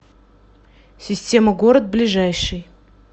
система город ближайший